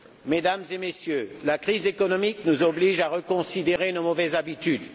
Mesdames et Messieurs, la crise économique nous oblige à reconsidérer nos mauvaises habitudes.